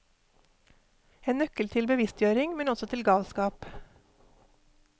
En nøkkel til bevisstgjøring, men også til galskap.